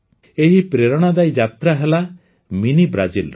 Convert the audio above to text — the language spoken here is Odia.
ଏଇ ପ୍ରେରଣାଦାୟୀ ଯାତ୍ରା ହେଲା ମିନି ବ୍ରାଜିଲ୍ର